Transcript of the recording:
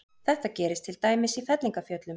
Þetta gerist til dæmis í fellingafjöllum.